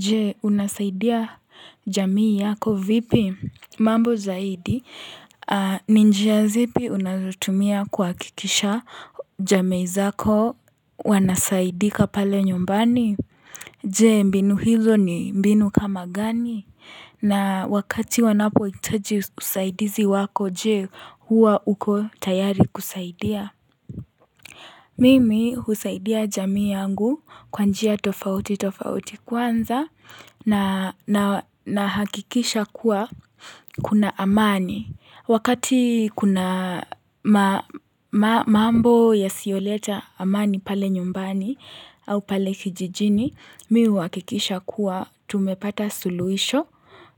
Je unasaidia jamii yako vipi mambo zaidi ninjia zipi unazotumia kuhakikisha jamii zako wanasaidika pale nyumbani Je mbinu hizo ni mbinu kama gani na wakati wanapouitaji usaidizi wako je hua uko tayari kusaidia Mimi husaidia jamii yangu kwanjia tofauti tofauti kwanza na hakikisha kuwa kuna amani. Wakati kuna mambo ya sioleta amani pale nyumbani au pale kijijini, mi huhakikisha kuwa tumepata suluisho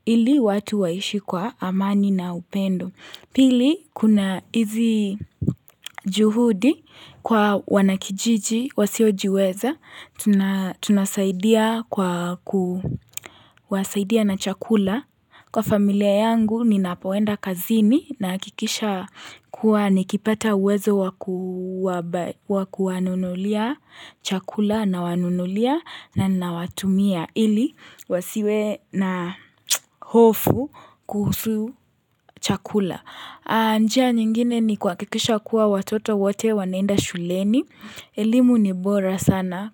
ili watu waishi kwa amani na upendo. Pili, kuna hizi juhudi kwa wanakijiji, wasiojiweza, tunasaidia na chakula. Kwa familia yangu, ninapoenda kazini nahakikisha kuwa nikipata uwezo wakuwanunulia chakula na wanunulia na nawatumia. Ili, wasiwe na hofu kuhusu chakula. Njia nyingine ni kuhakikisha kuwa watoto wote wanaenda shuleni. Elimu ni bora sana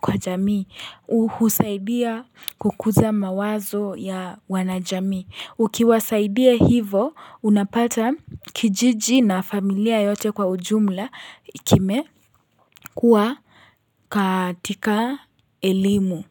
kwa jamii. Uhusaidia kukuza mawazo ya wanajamii. Ukiwasaidia hivo, unapata kijiji na familia yote kwa ujumla kime kuwa katika elimu.